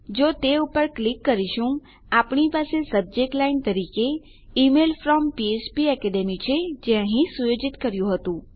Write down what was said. જો આપણે તે પર ક્લિક કરીશું આપણી પાસે સબજેક્ટ લાઈન તરીકે ઇમેઇલ ફ્રોમ ફ્પેકેડમી છે જે અહીં સુયોજિત કર્યું હતું